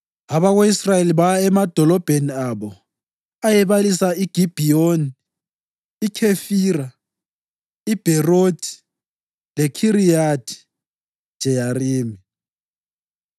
Abako-Israyeli baya emadolobheni abo ayebalisa iGibhiyoni, iKhefira, iBherothi leKhiriyathi-Jeyarimi.